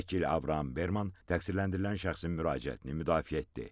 Vəkil Abram Berman təqsirləndirilən şəxsin müraciətini müdafiə etdi.